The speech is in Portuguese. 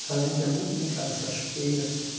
Então, a gente ia muito brincar nas cachoeiras.